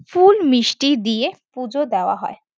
ফুল-মিষ্টি দিয়ে পুজো দেওয়া হয়।